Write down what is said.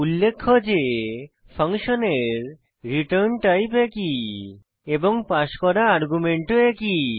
উল্লেখ্য যে ফাংশনের রিটার্ন টাইপ একই এবং পাস করা আর্গুমেন্টও একই